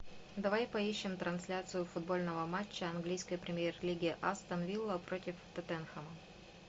давай поищем трансляцию футбольного матча английской премьер лиги астон вилла против тоттенхэма